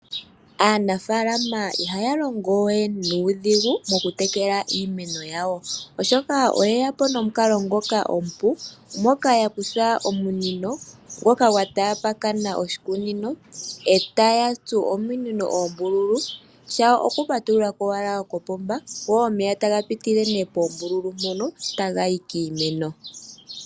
Aanafaalama ihaya longo we nuudhigu mokutekela iimeno yawo, oshoka oye ya po nomukalo ngoka omupu moka ya kutha omunino ngoka gwa tapakana oshikunino e taya tsu ominino oombululu shawo okupatulula ko owala kopomba go omeya taga pitile poombululu mpono taga yi kiimeno.